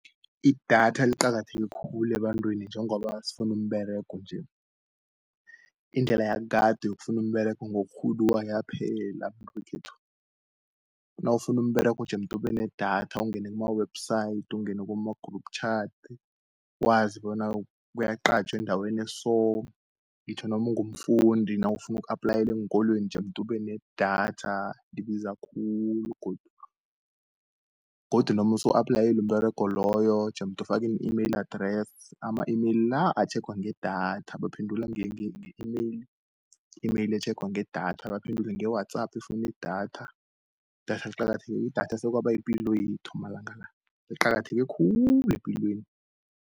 Idatha liqakatheke khulu ebantwini njengoba sifunu umberego nje, indlela yakade yokufunu umberego ngokurhuduwa yaphela ekhethu . Nawufunu umberego jemoet ubenedatha ungene kuma-Website, ungena kuma-group Chat, wazi bona kuyaqatjhwe endaweni eso. Ngitjho nomungumfundi nawufuna uku-applayele eenkolweni jemoet ubenedatha ibiza khulu godu, godu nomusu applayele umberego loyo, jemoet ufake i-email address, ama-email la, atjhegwa ngedatha, baphendula nge-email, i-email etjhengwa ngedatha. Baphendule nge-WhatsApp efuni idatha, idatha sekwaba yipilo yethu amalanga la, liqakatheke khulu epilweni.